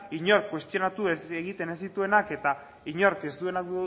inork kuestionatu egiten ez dituenak eta inork ez duena